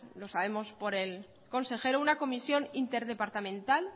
lo sabemos por el consejero una comisión interdepartamental